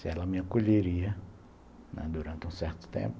Se ela me acolheria, né, durante um certo tempo,